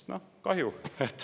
"– "Noh, kahju!